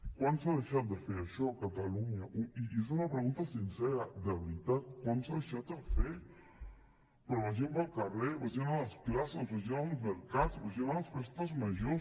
quan s’ha deixat de fer això a catalunya i és una pregunta sincera de veritat quan s’ha deixat de fer però vagin pel carrer vagin a les places vagin als mercats vagin a les festes majors